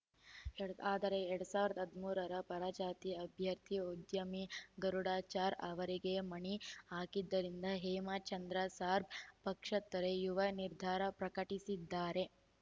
ಎರ್ ಆದರೆ ಎರಡ್ ಸಾವಿರದ ಹದಿಮೂರರ ಪರಾಜಿತ ಅಭ್ಯರ್ಥಿ ಉದ್ಯಮಿ ಗರುಡಾಚಾರ್‌ ಅವರಿಗೆ ಮಣೆ ಹಾಕಿದ್ದರಿಂದ ಹೇಮಚಂದ್ರ ಸಾಗರ್‌ ಪಕ್ಷ ತೊರೆಯುವ ನಿರ್ಧಾರ ಪ್ರಕಟಿಸಿದ್ದಾರೆ